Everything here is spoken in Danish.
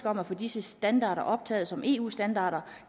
om at få disse standarder optaget som eu standarder